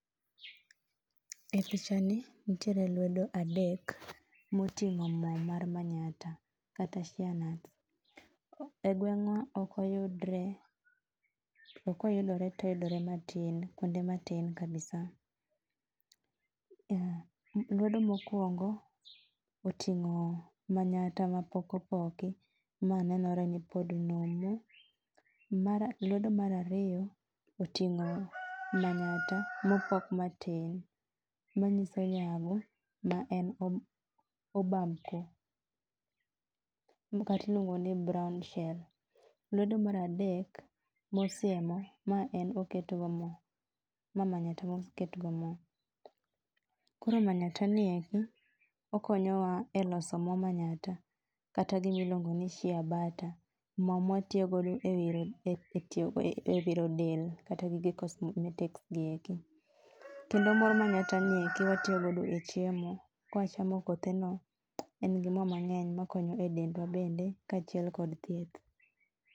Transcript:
E pichani nitiere lwedo adek moting'o mo mar manyatta kata sheer nut. Egweng'wa ok oyudre to ka oyudore to oyudore matin kuonde matin kabisa. Lwedo mokuongo oting'o manyatta mapok opoki, ma nenore nipod numu, mar lwedo mar ariyo oting'o manyatta mopok matin manyiso yabo maen obamko makata iluongo ni brownshell. Mar adek, mosiemo, ma en moketgo mo, ma manyatta moketgo mo. Koro manyatta nieri, okonyowa eloso mo manyatta kata gima iluongo ni sheer butter, mo mawatiyogo ewiro del kata gige cosmetics gieki. Mor manyatta niendi watiyogo e chiemo, kichami kotheno, en gi mo mang'eny makonyo edendwa bende kaachiel kod thieth.